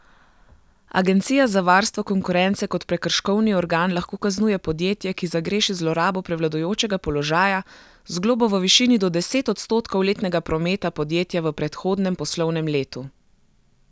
Agencija za varstvo konkurence kot prekrškovni organ lahko kaznuje podjetje, ki zagreši zlorabo prevladujočega položaja, z globo v višini do deset odstotkov letnega prometa podjetja v predhodnem poslovnem letu.